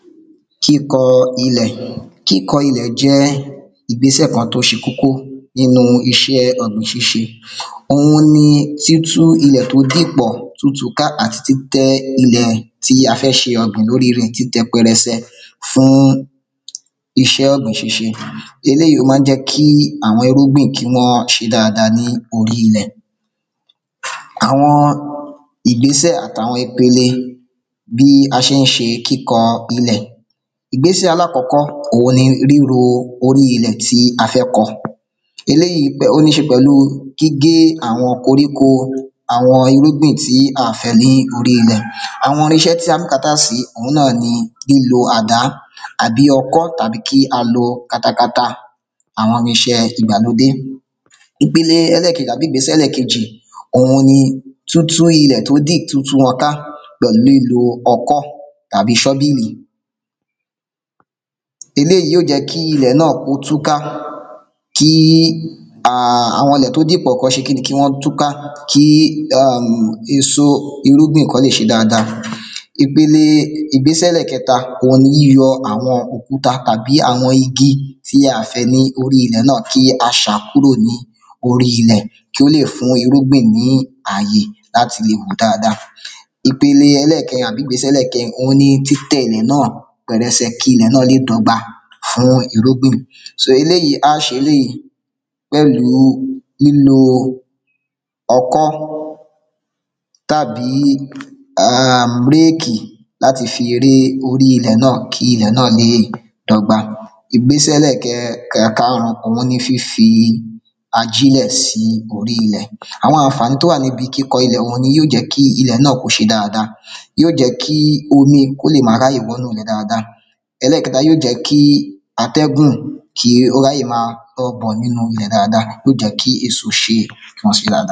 Kíkọ ilẹ̀ Kíkọ ilẹ̀ jẹ́ ìgbésẹ̀ kan tó ṣe kókó nínú iṣẹ́ ọ̀gbìn ṣíṣẹ òhun ni títú ilẹ̀ tó dìpọ̀ tútu ka àti títẹ́ ilẹ̀ tí a fẹ́ ṣe ọ̀gbìn lórí rẹ̀ títẹ pẹrẹsẹ fún iṣẹ́ ọ̀gbìn ṣíṣẹ eléyìí ó máa ń jẹ́ kí àwọn irúgbìn kí wọ́n ṣe dáada ní orí ilẹ̀ àwọn ìgbésẹ̀ àtàwọn ipele bí a ṣé ń ṣe kíkọ ilẹ̀ ìgbésẹ̀ alákọ́kọ́ òhun ni ríro orí ilẹ̀ tí a fẹ́ kọ eléyìí ó níṣe pẹ̀lú gígé àwọn koríko àwọn irúgbìn tí à fẹ́ ní orí ilẹ̀ àwọn irinṣẹ́ bùkátà sí òhun náà ni ilò àda abì ọkọ́ tàbí kí a lo katakata àwọn irinṣẹ́ ìgbàlódé ìpele ẹlẹ́kejì àbí ìgbésẹ̀ ẹlẹ́kejì òun ni tútú ilẹ̀ tó dì tútú wọn ká pẹ̀lú ilò ọkọ́ tàbí ṣọ́bílì eléìí ó jẹ́ kí ilẹ̀ náà kó túká kí àwọn ilẹ̀ tó dípọ̀ kọ́n ṣe kíni kí wọ́n túká kí èso irúgbìn kọ́ lè ṣe dáada ipele ìgbésẹ̀ ẹlẹ́kẹta òhun ni yíyọ àwọn òkúta tàbí àwọn igi tí a à fẹ́ ní orí ilẹ̀ náà kí a ṣà á kúrò ní orí ilẹ̀ kí ó lè fún irúgbìn ní àyè láti le wù dáada ìpele ẹlẹ́kẹrin àbí ìgbésẹ̀ ẹlẹ́kẹrin òhun ni títẹ́ ilẹ̀ náà pẹrẹsẹ kí ilẹ̀ náà lè dọ́gba fún irúgbìn so eléyìí á ṣe eléyìí pẹ̀lú lílo ọkọ́ tàbí réèkì láti fi ré orí ilẹ̀ náà kí ilẹ̀ náà léè dọgba ìgbésẹ̀ ẹlẹ́ẹ̀kẹ karùn-ún òhun ni fífi ajílẹ̀ sí orí ilẹ̀ àwọn àǹfàní tó wà níbi kíkọ ilẹ̀ ọ̀hún yó jẹ kí ilè náà kó ṣe dáada yó jẹ́ kí omi kó lè ma ráyè wọnú ilẹ̀ dáada ẹlẹ́kẹta yí ó jẹ́ kí atẹ́gùn kí ó ráyè ma nínu ilẹ̀ dáada yó jẹ́ kí èso ṣe dáada.